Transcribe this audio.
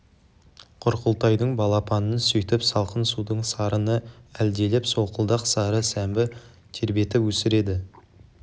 құрқылтайдың балапанын сөйтіп салқын судың сарыны әлдилеп солқылдақ сары сәмбі тербетіп өсіреді